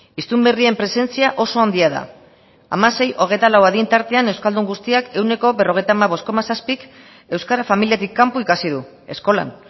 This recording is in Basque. hiztun berrien presentzia oso handia da hamasei hogeita lau adin tartean euskaldun guztiak ehuneko berrogeita hamabost koma zazpik euskara familiatik kanpo ikasi du eskolan